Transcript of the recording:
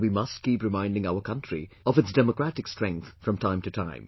And we must keep reminding our country of its democratic strength from time to time